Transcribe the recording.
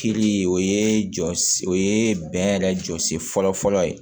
Kiri o ye jɔsi o ye bɛn yɛrɛ jɔsi fɔlɔ fɔlɔ ye